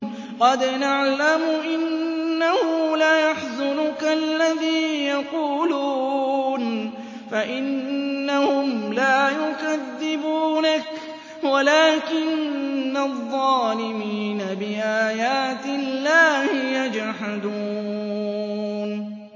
قَدْ نَعْلَمُ إِنَّهُ لَيَحْزُنُكَ الَّذِي يَقُولُونَ ۖ فَإِنَّهُمْ لَا يُكَذِّبُونَكَ وَلَٰكِنَّ الظَّالِمِينَ بِآيَاتِ اللَّهِ يَجْحَدُونَ